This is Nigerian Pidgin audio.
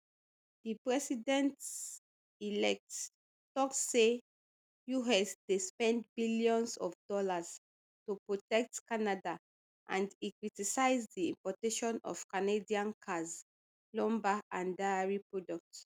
di presidentelect tok say us dey spend billions of dollars to protect canada and e criticise di importation of canadian cars lumber and dairy products